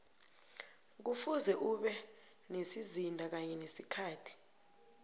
kufuze ube nesizinda kanye nesikhathi